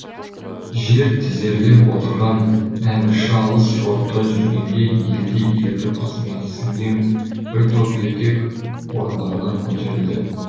жер тізерлеп отырған әмірші алыс жорықта жүргенде елде елеулі қызметі сіңген бір топ еркек орындарынан көтерілді